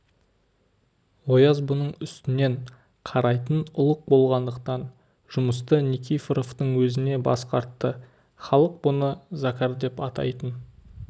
ояз бұның үстінен қарайтын ұлық болғандықтан жұмысты никифоровтың өзіне басқартты халық бұны закар деп атайтын